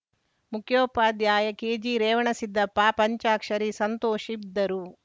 ಮುಖ್ಯೋಪಾಧ್ಯಾಯ ಕೆಜಿರೇವಣಸಿದ್ದಪ್ಪ ಪಂಚಾಕ್ಷರಿ ಸಂತೋಷ ಇದ್ದರು